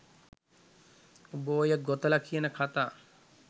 උඹ ඔය ගොතල කියන කථා